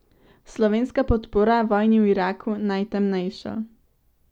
Slovenska podpora vojni v Iraku najtemnejšo.